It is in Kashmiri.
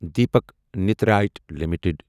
Deepak nitrite limited